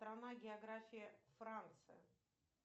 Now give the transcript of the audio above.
страна география франция